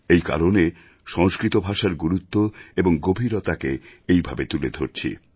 এই কারণে সংস্কৃত ভাষার গুরুত্ব এবং গভীরতাকে এইভাবে তুলে ধরছি